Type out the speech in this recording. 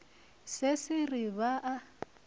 se se re ba a